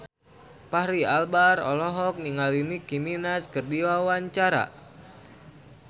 Fachri Albar olohok ningali Nicky Minaj keur diwawancara